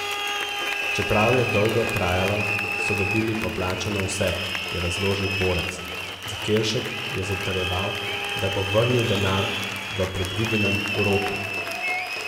Čeprav je dolgo trajalo, so dobili poplačano vse, je razložil Borec: 'Zakelšek je zatrjeval, da bo vrnil denar v predvidenem roku.